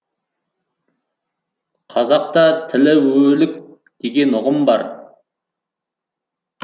қазақта тірі өлік деген ұғым бар